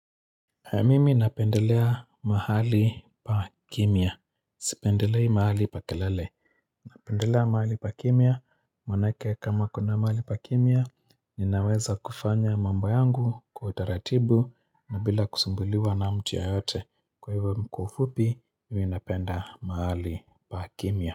Mimi napendelea mahali pa kimya Sipendelei mahali pa kelele Napendelea mahali pa kimya, maanake kama kuna mahali pa kimya Ninaweza kufanya mambo yangu kwa utaratibu na bila kusumbuliwa na mtu yeyote Kwa hivyo kwa ufupi, mimi napenda mahali pa kimya.